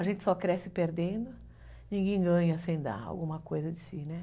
A gente só cresce perdendo, ninguém ganha sem dar alguma coisa de si, né?